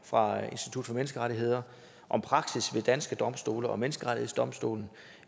fra institut for menneskerettigheder om praksis ved danske domstole og menneskerettighedsdomstolen